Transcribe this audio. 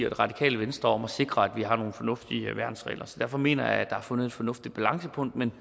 radikale venstre om at sikre at vi har nogle fornuftige værnsregler derfor mener jeg at er fundet et fornuftigt balancepunkt men